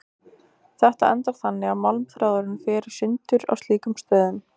Þetta endar þannig að málmþráðurinn fer í sundur á slíkum stöðum.